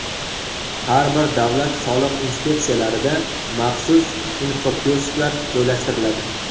Har bir davlat soliq inspeksiyalarida maxsus infokiosklar joylashtiriladi.